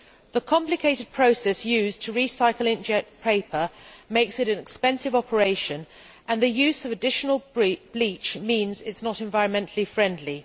The complicated process used to recycle ink jet paper makes it an expensive operation, and the use of additional bleach means it is not environmentally friendly.